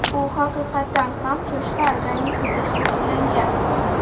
U haqiqatan ham cho‘chqa organizmida shakllangan.